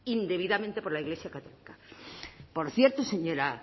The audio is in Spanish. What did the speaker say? indebidamente por la iglesia católica por cierto señora